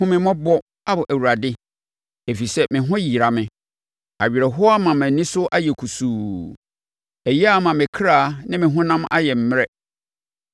Hu me mmɔbɔ, Ao Awurade, ɛfiri sɛ me ho yera me; awerɛhoɔ ama mʼani so ayɛ kusuu ɛyea ama me kra ne me honam ayɛ mmerɛ.